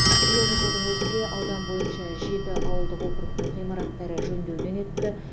биылғы жылдың өзінде аудан бойынша жеті ауылдық округтің ғимараттары жөндеуден өтті